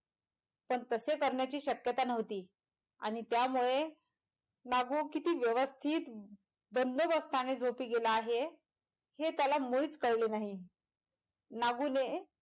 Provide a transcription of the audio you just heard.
तर तसे करण्याची शक्यता नव्हती आणि त्यामुळे नागू किती व्यवस्थित बंदोबस्ताने झोपी गेला आहे हेत्याला मुळीच कळले नाही नागूने,